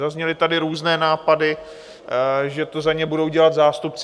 Zazněly tady různé nápady, že to za ně budou dělat zástupci.